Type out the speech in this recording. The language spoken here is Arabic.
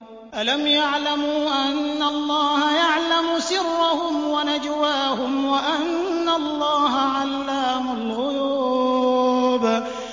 أَلَمْ يَعْلَمُوا أَنَّ اللَّهَ يَعْلَمُ سِرَّهُمْ وَنَجْوَاهُمْ وَأَنَّ اللَّهَ عَلَّامُ الْغُيُوبِ